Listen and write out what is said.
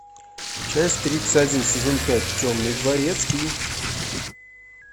часть тридцать один сезон пять темный дворецкий